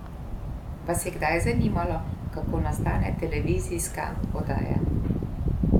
Vas je kdaj zanimalo kako nastane televizijska oddaja?